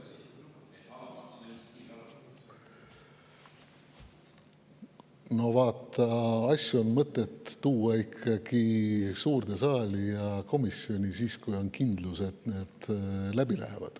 No vaata, asju on mõtet tuua suurde saali ja komisjoni siis, kui on ikkagi kindlus, et need läbi lähevad.